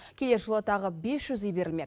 келер жылы тағы бес жүз үй берілмек